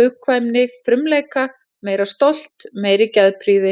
hugkvæmni, frumleika, meira stolt, meiri geðprýði.